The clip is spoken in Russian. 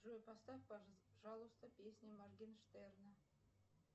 джой поставь пожалуйста песню моргенштерна